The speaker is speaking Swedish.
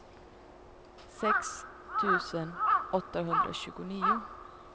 sex tusen åttahundratjugonio